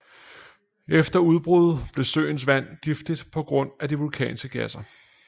Efter udbruddet blev søens vand giftigt på grund af de vulkanske gasser